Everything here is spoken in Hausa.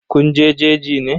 Kun je jeji ne?